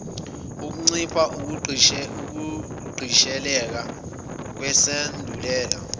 kuncipha ukugqisheleka kwesandulela